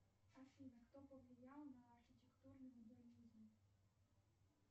афина кто повлиял на архитектурный модернизм